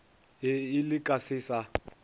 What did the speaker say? ee le ka se sa